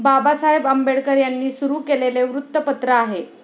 बाबासाहेब आंबेडकर यांनी सुरु केलेले वृत्तपत्र आहे.